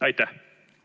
Aitäh!